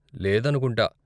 లేదనుకుంటా.